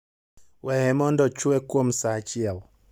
Weye mondo ochwe kuom sa achiel.